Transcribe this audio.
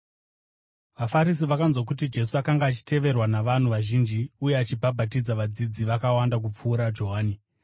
VaFarisi vakanzwa kuti Jesu akanga achiteverwa navanhu vazhinji uye achibhabhatidza vadzidzi vakawanda kupfuura Johani,